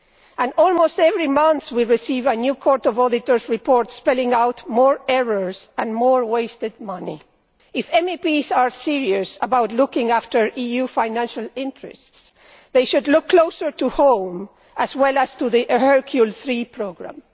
And almost every month we receive a new Court of Auditors' report spelling out more errors and more wasted money. If MEPs are serious about looking after EU financial interests, they should look closer to home as well as to the Hercule III programme.